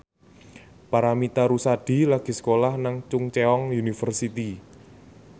Paramitha Rusady lagi sekolah nang Chungceong University